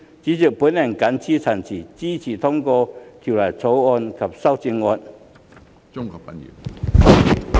主席，我謹此陳辭，支持通過《條例草案》及修正案。